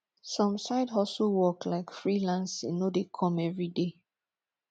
some side hustle work like freelancing no de come every day